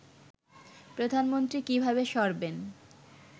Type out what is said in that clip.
প্রধানমন্ত্রী কিভাবে সরবেন